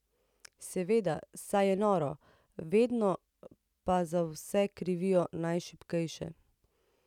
Seveda, saj je noro, vedno pa za vse krivijo najšibkejše.